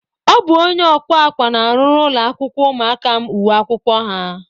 Ọ bụ onye ọkwa akwa na-arụrụ ụlọakwụkwọ ụmụaka m uwe akwụkwọ ha